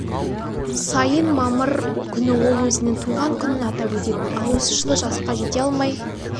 сайын мамыр күні ол өзінің туған күнің атап өтетін ал осы жылы жасқа жете алмай